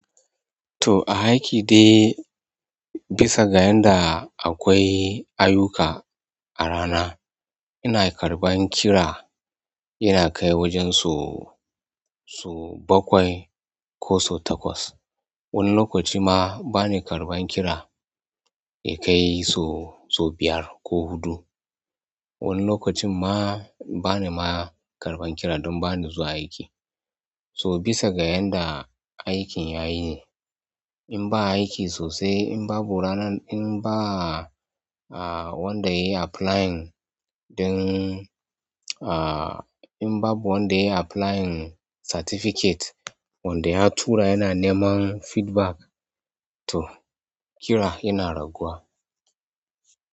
To aiki dai bisa ga yanda akwai ayuka a rana, ina karɓan kira yana kai wajen so, so bakwai ko so takwas. Wani lokaci ma bani karɓan kira yakai sau biyar ko huɗu. Wani lokacin ma bani ma karɓan kiran don bani zuwa aiki. So bisa ga yanda aikin yayi ne. In ba aiki sosai in babu ranar in bavwanda yayi applying ɗin in babu wanda yayi applying certificate, wanda ya tura yana neman feedback to kira yana raguwa.